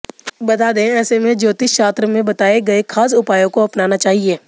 बता दें ऐसे में ज्योतिष शास्त्र में बताए गए खास उपायों को अपनाना चाहिए